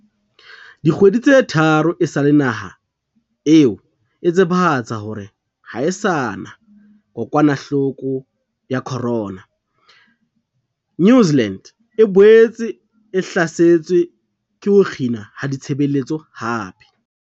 Dikgwedi tse tharo esale naha eo e tsebahatsa hore ha e sa na kokwanahloko ya corona, New Zealand e boetse e hlasetswe ke ho kginwa ha ditshebeletso hape.